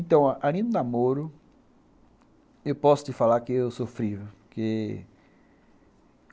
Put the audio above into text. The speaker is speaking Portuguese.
Então, a linha do namoro, eu posso te falar que eu sofri, viu, porquê...